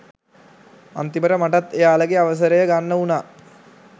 අන්තිමට මටත් එයාලගේ අවසරය ගන්න වුණා